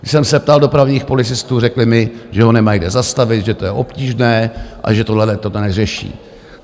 Když jsem se ptal dopravních policistů, řekli mi, že ho nemají kde zastavit, že to je obtížné a že tohleto neřeší.